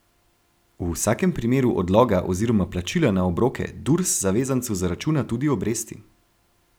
V vsakem primeru odloga oziroma plačila na obroke Durs zavezancu zaračuna tudi obresti.